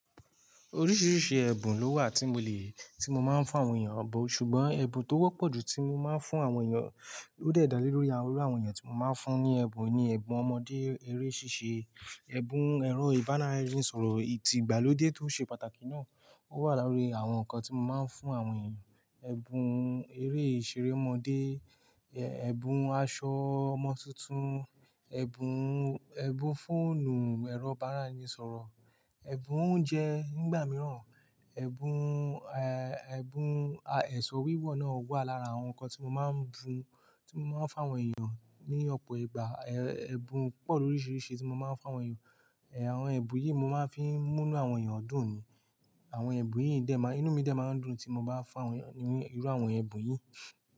Oríṣìíríṣìí ẹ̀bùn ló wà tí mo lè, tí mo máa ń fún àwọn èèyàn bó. Ṣùgbọ́n ẹ̀bùn tó wọ́pọ̀ jù tí mo máa ń fún àwọn èèyàn ó de dalé lórí àwọn irú àwọn èèyàn tí mo máa ń fún ní ẹ̀bùn ni ẹ̀bùn ọmọdé eré ṣíṣe, ẹ̀bùn ẹ̀rọ ìbánáìrìnsọ̀rọ̀. Ìtìgbàlódé tó ṣe pàtàkì náà ó wà láàárín àwọn nǹkan tí mo máa ń fún àwọn èèyàn. Ẹ̀bùn eré ìṣeré ọmọdé, ẹ̀bùn aṣọ ọmọ tuntun, ẹ̀bùn, ẹ̀bùn fóònù ẹ̀rọ ìbánáìrìnsọ̀rọ̀, ẹ̀bùn oúnjẹ nígbà mìíràn, ẹ̀bùn, ẹ̀bùn, à, ẹ̀sọ́ wíwọ̀ náà wà lára àwọn nǹkan tí mo máa ń bùn, tí mo máa ń fún àwọn èèyàn ní ọ̀pọ̀ ìgbà. Ẹ̀bùn pọ̀ lóríṣiríṣi tí mo máa ń fún àwọn èèyàn. Ẹ̀, àwọn ẹ̀bùn yìí mo máa ń fi mú inú àwọn èèyàn dùn ni. Àwọn ẹ̀bùn yìí dẹ̀ má, inú mi dẹ máa ń dùn tí mo bá fún àwọn èèyàn ní irú àwọn ẹ̀bùn yìí.